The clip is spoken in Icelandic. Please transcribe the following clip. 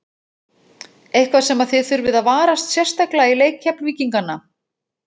Eitthvað sem að þið þurfið að varast sérstaklega í leik Keflvíkingana?